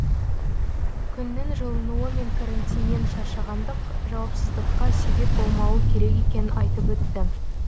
күннің жылынуы мен карантиннен шаршағандық жауапсыздыққа себеп болмауы керек екенін айтып өтті